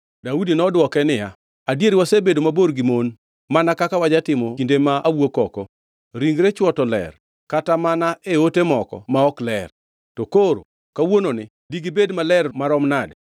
Daudi nodwoke niya, “Adier wasebedo mabor gi mon, mana kaka wajatimo kinde ma awuok oko. Ringre chwo to ler kata mana e ote moko ma ok ler. To koro kawuononi digibed maler maromo nade!”